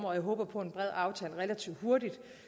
og jeg håber på en bred aftale relativt hurtigt